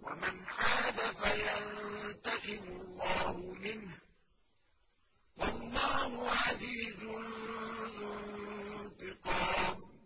وَمَنْ عَادَ فَيَنتَقِمُ اللَّهُ مِنْهُ ۗ وَاللَّهُ عَزِيزٌ ذُو انتِقَامٍ